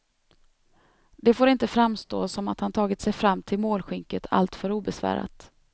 Det får inte framstå som att han tagit sig fram till målskynket allt för obesvärat.